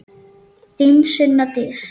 Þín Sunna Dís.